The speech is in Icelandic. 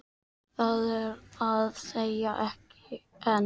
Það er að segja, ekki enn.